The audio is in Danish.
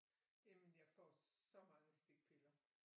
Jamen jeg får så mange stikpiller